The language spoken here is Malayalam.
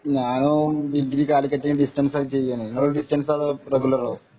ഞാനും ഡിഗ്രി കാലിക്കറ്റ് ഡിസ്റ്റന്‍സ് ആയിട്ട് ചെയ്യെണ് നിങ്ങൾ ഡിസ്റ്റൻസോ അതോറെഗുലറോ ?